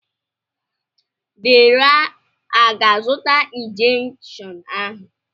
Deraa aga-azụta injekshiọn ahụ?